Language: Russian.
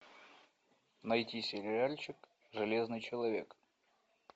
найти сериальчик железный человек